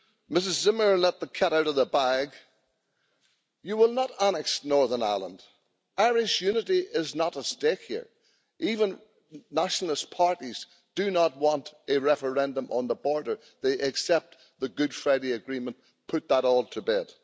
Ms Zimmer let the cat out of the bag you will not annex Northern Ireland, Irish unity is not at stake here, even nationalist parties do not want a referendum on the border, they accept the Good Friday Agreement put that all to bed.